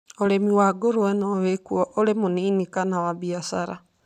Ũrĩithi wa ngũrũwe no wikwo ũrĩ mũnini kana wa biacara